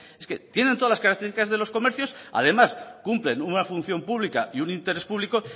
es que tiene todas las características de los comercios además cumplen una función pública y un interés público